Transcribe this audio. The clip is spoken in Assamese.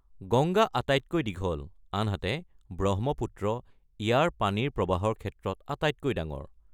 গংগা আটাইতকৈ দীঘল, আনহাতে ব্ৰহ্মপুত্ৰ ইয়াৰ পানীৰ প্ৰৱাহৰ ক্ষেত্ৰত আটাইতকৈ ডাঙৰ।